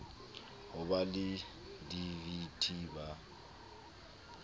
ho ba le dvt ba